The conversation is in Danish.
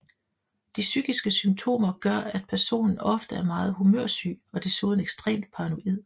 De psykiske symptomer gør at personen ofte er meget humørsyg og desuden ekstremt paranoid